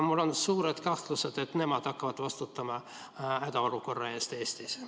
Mul on suur kahtlus, et nemad hakkavad vastutama hädaolukorra eest Eestis.